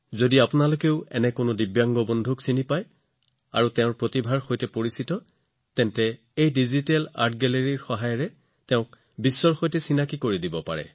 যদি আপুনি এজন দিব্যাংগ লোকক জানে তেওঁলোকৰ প্ৰতিভা জানে তেন্তে ডিজিটেল প্ৰযুক্তিৰ সহায়ত আপুনি তেওঁক বিশ্বৰ সন্মুখলৈ আনিব পাৰে